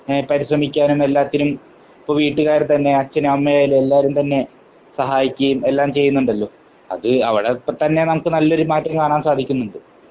എഹ് പരിശ്രമിക്കാനും എല്ലാത്തിനും ഇപ്പോ വീട്ടുകാർ തന്നെ അച്ഛനും അമ്മയും ആയാൽ എല്ലാരും തന്നെ സഹായിക്കുകയും എല്ലാം ചെയ്യുന്നുണ്ടല്ലോ. അത് അവിടെ ഇപ്പോ തന്നെ നല്ലൊരു മാറ്റം കാണാൻ സാധിക്കുന്നുണ്ട്.